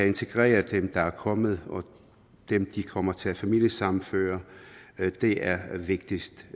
integreret dem der er kommet og dem de kommer til at familiesammenføre det er vigtigst